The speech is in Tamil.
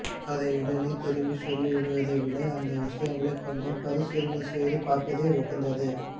அதை உடனே திருப்பிச் சொல்லிவிடுவதை விட அந்த விஷயங்களை கொஞ்சம் பரிசீலனைசெய்து பார்ப்பதே உகந்தது